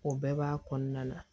O bɛɛ b'a kɔnɔna na